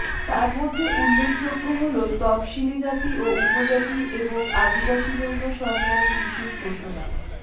তার মধ্যে উল্লেখযোগ্য হল তফশিলি জাতি ও উপজাতির এবং আদিবাসী জন্য সরকারের বিশেষ ঘোষণা